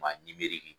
Maa